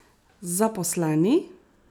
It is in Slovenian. Zaposleni?